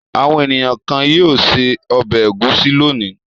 Àwọn ènìyàn kan yóò se ọbẹ̀ ẹ̀gúsí lónìí.